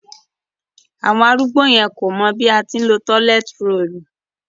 Àwọn arúgbó yẹn kò mọ̀ bí a ṣe ńlo róòlù